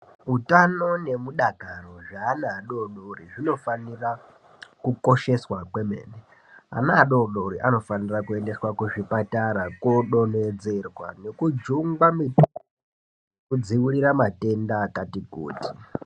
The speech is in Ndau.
Utano nemudakaro zveana adodori zvinofanira kukosheswa kwemene, ana adodori anofanira kuendeswa kuzvipatara kodonhedzerwa nekujungwa mitombo nekudziwirira matenda akati kuti.